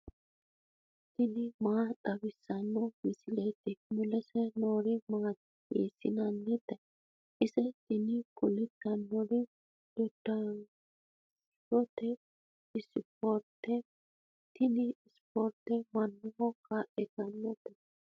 tini maa xawissanno misileeti ? mulese noori maati ? hiissinannite ise ? tini kultannori dodanshote ispoorteeti. tini ispoorte maaho kaa'litanno?